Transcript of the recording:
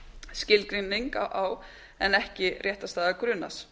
skilgreining á en ekki réttarstaða grunaðs